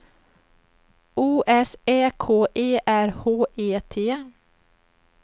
O S Ä K E R H E T